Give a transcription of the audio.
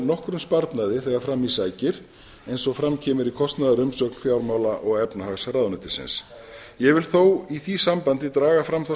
nokkrum sparnaði þegar fram í sækir eins og fram kemur í kostnaðarumsögn fjármála og efnahagsráðuneytisins ég vil þó í því sambandi draga fram þá